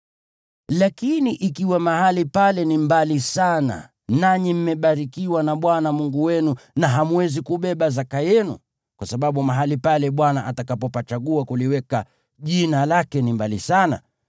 Lakini ikiwa mahali pale ni mbali sana nanyi mmebarikiwa na Bwana Mungu wenu na hamwezi kubeba zaka yenu (kwa sababu mahali pale Bwana atakapopachagua kuliweka Jina lake ni mbali sana),